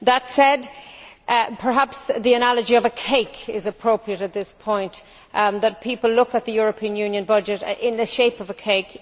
That said, perhaps the analogy of a cake is appropriate at this point that people look at the European Union budget in the shape of a cake.